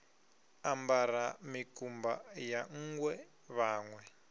ambara mikumba ya nṋgwe vhanwe